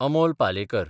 Amol Palekar